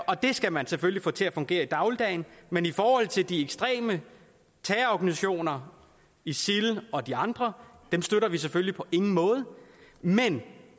og det skal man selvfølgelig få til at fungere i dagligdagen men i forhold til de ekstreme terrororganisationer isil og de andre er dem støtter vi selvfølgelig på ingen måde men